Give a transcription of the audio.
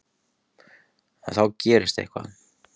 En þá gerist eitthvað.